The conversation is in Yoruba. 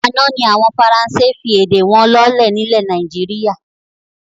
Àná ni àwọn Faransé fi èdè wọn lọ́lẹ̀ ni ilẹ̀ Nàìjíríà